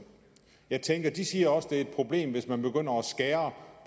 jeg tænker de siger også at det er et problem hvis man begynder at skære